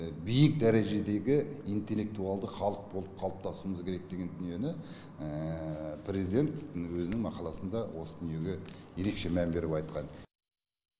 биік дәрежедегі интеллектуалды халық болып қалыптасуымыз керек деген дүниені президент өзінің мақаласында осы дүниеге ерекше мән беріп айтқан